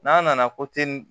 N'a nana